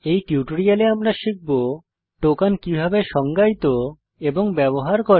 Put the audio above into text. এই টিউটোরিয়ালে আমরা শিখব টোকন কিভাবে সংজ্ঞায়িত এবং ব্যবহার করে